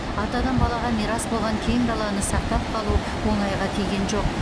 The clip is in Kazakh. атадан балаға мирас болған кең даланы сақтап қалу оңайға тиген жоқ